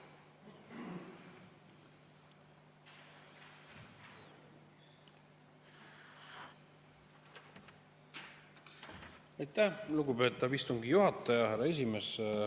Aitäh, lugupeetav istungi juhataja, härra esimees!